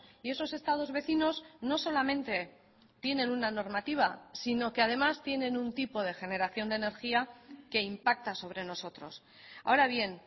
y esos estados vecinos no solamente tienen una normativa sino que además tienen un tipo de generación de energía que impacta sobre nosotros ahora bien